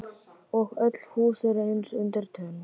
Og öll hús eru eins undir tönn.